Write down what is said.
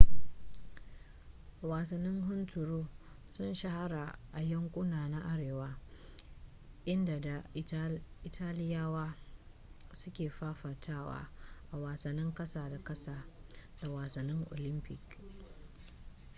wasannin hunturu sun shahara a yankuna na arewa inda da italiyawa su ke fafatawa a wasannin kasa da kasa da wasannin olympic